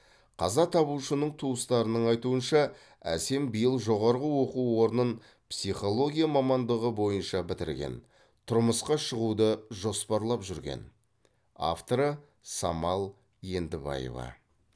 қаза табушының туыстарының айтуынша әсем биыл жоғарғы оқу орнын психология мамандығы бойынша бітірген тұрмысқа шығуды жоспарлап жүрген авторы самал ендібаева